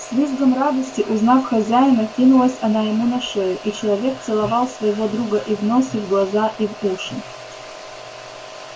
с визгом радости узнав хозяина кинулась она ему на шею и человек целовал своего друга и в нос и в глаза и в уши